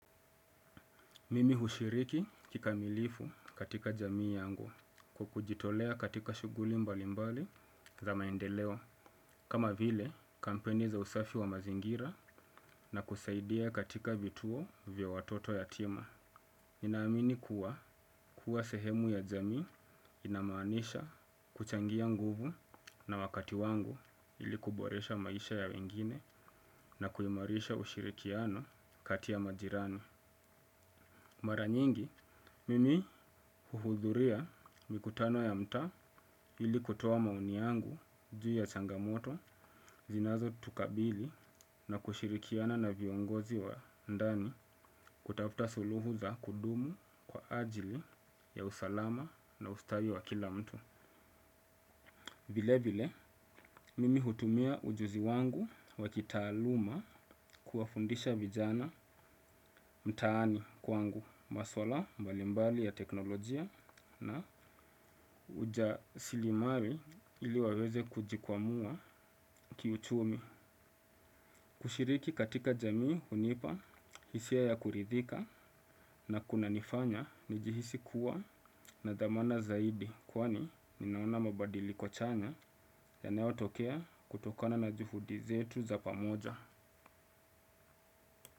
Mimi hushiriki kikamilifu katika jamii yangu kwa kujitolea katika shuguli mbali mbali za maendeleo. Kama vile kampeni za usafi wa mazingira na kusaidia katika vituo vya watoto yatima. Ninaamini kuwa kuwa sehemu ya jamii inamaanisha kuchangia nguvu na wakati wangu ili kuboresha maisha ya wengine na kuimarisha ushirikiano kati ya majirani. Mara nyingi, mimi huhudhuria mikutano ya mtaa hili kutoa maoni yangu juu ya changamoto zinazo tukabili na kushirikiana na viongozi wa ndani kutafta suluhu za kudumu kwa ajili ya usalama na ustawi wa kila mtu. Vile vile, mimi hutumia ujuzi wangu wa kitaaluma kuwafundisha vijana mtaani kwangu maswala mbalimbali ya teknolojia na uja silimari ili waweze kujikwamua kiuchumi. Kushiriki katika jamii hunipa, hisia ya kuridhika na kuna nifanya ni jihisi kuwa na dhamana zaidi kwani ninaona mabadiliko chanya yanayotokea kutokana na juhudi zetu za pamoja.